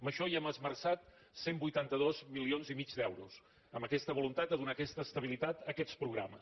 en això hem esmerçat cent i vuitanta dos milions i mig d’euros amb aquesta voluntat de donar aquesta estabilitat a aquests progra·mes